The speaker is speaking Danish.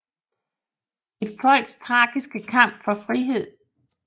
Et folks tragiske kamp for frihed